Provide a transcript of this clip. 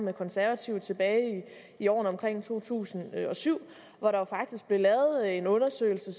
de konservative tilbage i årene omkring to tusind og syv hvor der faktisk blev lavet en undersøgelse